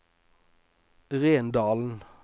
Rendalen